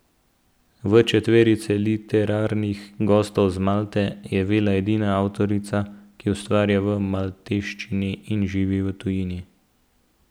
V četverici literarnih gostov z Malte je Vella edina avtorica, ki ustvarja v malteščini in živi v tujini.